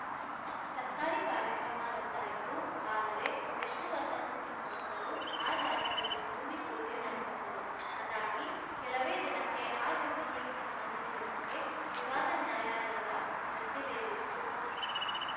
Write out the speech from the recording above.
ಸರ್ಕಾರಿ ಕಾರ್ಯಕ್ರಮ ರದ್ದಾಯಿತು ಆದರೆ ವಿಷ್ಣುನರ್ಧನ್‌ ಕುಟುಂಬಸ್ಥರು ಆ ಜಾಗದಲ್ಲಿ ಭೂಮಿಪೂಜೆ ನಡೆಸಿದ್ದರು ಅದಾಗಿ ಕೆಲವೇ ದಿನಕ್ಕೆ ಆ ಜಮೀನಿಗೆ ಸಂಬಂಧಿಸಿದಂತೆ ವಿವಾದ ನ್ಯಾಯಾಲಯದ ಮೆಟ್ಟಿಲೇರಿತ್ತು